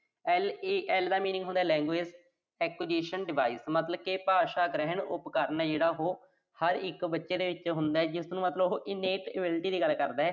LAD ਦਾ ਮਤਲਬ ਹੁੰਦਾ Language Acquisition Device ਮਤਲਬ ਕਿ ਭਾਸ਼ਾ ਗ੍ਰਹਿਣ ਉਪਕਰਨ ਜਿਹੜਾ ਉਹੋ, ਹਰ ਇੱਕ ਬੱਚੇ ਦੇ ਵਿੱਚ ਹੁੰਦੈ, ਜਿਸਨੂੰ ਮਤਲਬ ਉਹ ਦੀ ਗੱਲ ਕਰਦੈ।